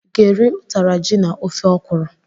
I ga-eri ụtara ji na ofe okwuru?